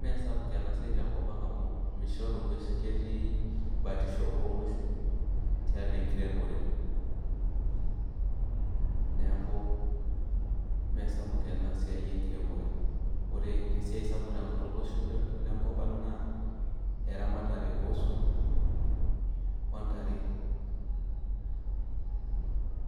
Mee sapuk ena siai tenkop amu mishoru ng'uesin ketii batisho oonguesin tialo enkiremore neeku meesapuk ena siai enkiremore, ore esiai sapuk tolosho lenkop ang' naa eramatare ooswam ontare.